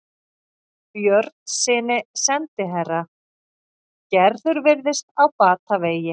Björnssyni sendiherra: Gerður virðist á batavegi.